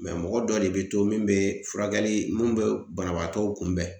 Mɛ mɔgɔ dɔ de be to min be furakɛli min be banabaatɔw kunbɛn